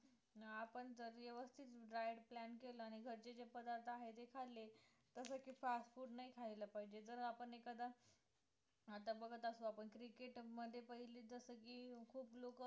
अं आपण जर व्यवस्थित diet plan केला आणि घरचे जे पदार्थ आहे ते खालले जसं की fast food नाही खायला पाहिजे जर आपण एखादा आता बघत असतो आपण cricket मध्ये पहिले जसं की खूप लोकं